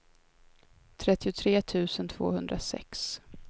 trettiotre tusen tvåhundrasex